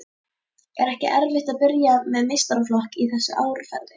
Er ekkert erfitt að byrja með meistaraflokk í þessu árferði?